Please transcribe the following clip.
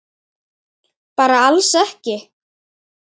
Bara alls ekki?